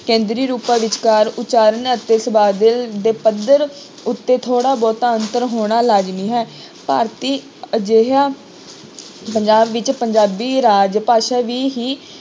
ਕੇਂਦਰੀ ਰੂਪਾਂ ਵਿਚਕਾਰ ਉਚਾਰਨ ਅਤੇ ਦੇ ਪੱਧਰ ਉੱਤੇ ਥੋੜ੍ਹਾ ਬਹੁਤਾ ਅੰਤਰ ਹੋਣਾ ਲਾਜ਼ਮੀ ਹੈ, ਭਾਰਤੀ ਅਜਿਹਾ ਪੰਜਾਬ ਵਿੱਚ ਪੰਜਾਬੀ ਰਾਜ ਭਾਸ਼ਾ ਵੀ ਹੀ